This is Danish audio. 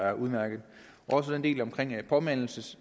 er udmærket også den del omkring påmindelses